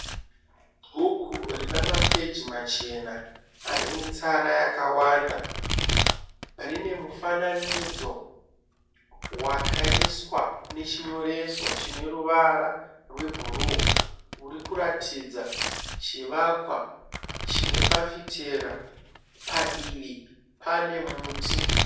Bhuku Rina mapeji Machena anemitsara yakawanda rinemufananidzo wakaiswa nechinyoreso chine ruvara rwebhuruu urikuratidza chiwakwa chinefafitera padivi panemuti